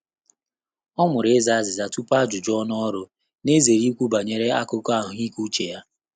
Ọ́ mụrụ ịzà àzị́zà túpù ájụ́jụ́ ọ́nụ́ ọ́rụ́, nà-èzéré íkwú bànyèrè ákụ́kọ́ àhụ́ị́ké úchè yá.